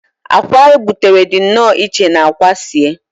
akwa a gbutere dị nnọọ iche na akwa sie